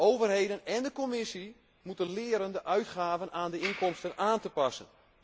Overheden en de Commissie moeten leren de uitgaven aan de inkomsten aan te passen.